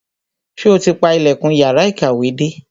Sọ ti pa ilẹ̀kùn yàrá ìkàwé dé?